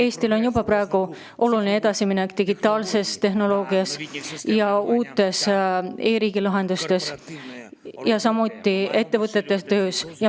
Eesti on juba teinud olulise edasimineku digitaalses tehnoloogias ja uutes e‑riigi lahendustes, samuti ettevõtete töös.